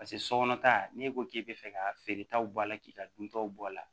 Paseke sokɔnɔ ta n'e ko k'e bɛ fɛ ka feeretaw bɔ a la k'i ka duntaw bɔ a la